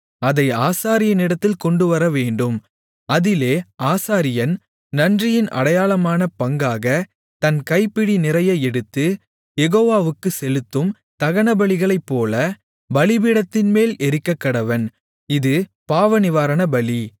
அதை ஆசாரியனிடத்தில் கொண்டுவரவேண்டும் அதிலே ஆசாரியன் நன்றியின் அடையாளமான பங்காகத் தன் கைப்பிடி நிறைய எடுத்து யெகோவாவுக்குச் செலுத்தும் தகனபலிகளைப்போல பலிபீடத்தின்மேல் எரிக்கக்கடவன் இது பாவநிவாரணபலி